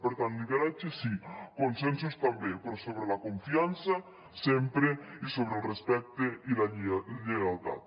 per tant lideratges sí consensos també però sobre la confiança sempre i sobre el respecte i la lleialtat